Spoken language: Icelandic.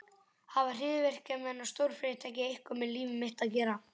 Hafa hryðjuverkamenn og stórfyrirtæki eitthvað með líf mitt að gera?